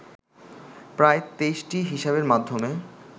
প্রায় ২৩টি হিসাবের মাধ্যমে